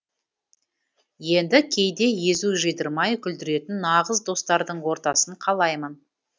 енді кейде езу жидырмай күлдіретін нағыз достардың ортасын қалаймын